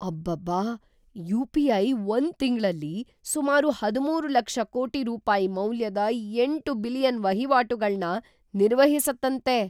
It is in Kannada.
ಅಬ್ಬಬ್ಬಾ! ಯು.ಪಿ.ಐ. ಒಂದ್ ತಿಂಗ್ಳಲ್ಲಿ ಸುಮಾರು ಹದಿಮೂರು ಲಕ್ಷ ಕೋಟಿ ರೂಪಾಯಿ ಮೌಲ್ಯದ ಎಂಟು ಬಿಲಿಯನ್ ವಹಿವಾಟುಗಳ್ನ ನಿರ್ವಹಿಸತ್ತಂತೆ!